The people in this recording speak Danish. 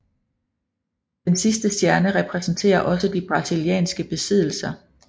Den sidste stjerne repræsenterer også de brasilianske besiddelser